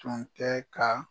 Tun tɛ ka.